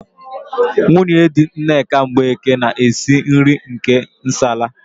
Nwunye di Nneka Mgbeke na-esi nri nke nsala.